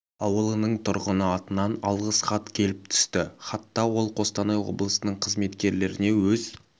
ауылының тұрғыны атынан алғыс хат келіп түсті хатта ол қостанай облысының қызметкерлеріне өз